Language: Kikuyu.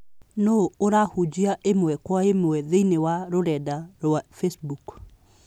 Nũũ ũrahunjia ĩmwe kwa ĩmwe thĩinĩ rũrenda rũa wa Facebook?